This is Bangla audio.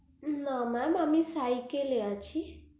না mam আমি cycle এ আছি